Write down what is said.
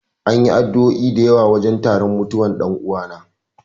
An yi addu'o'i da yawa a wajen taron mutuwan dan'uwana.